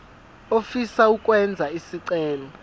ofisa ukwenza isicelo